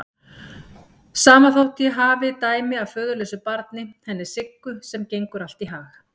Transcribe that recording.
Sama þótt ég hafi dæmi af föðurlausu barni, henni Siggu, sem gengur allt í hag.